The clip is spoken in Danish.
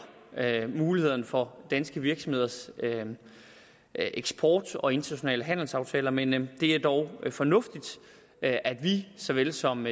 mulighederne for danske virksomheders eksport og internationale handelsaftaler men det er dog fornuftigt at at vi såvel som